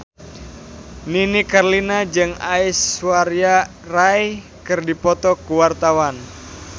Nini Carlina jeung Aishwarya Rai keur dipoto ku wartawan